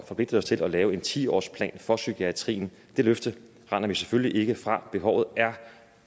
forpligte os til at lave en ti årsplan for psykiatrien det løfte render vi selvfølgelig ikke fra behovet er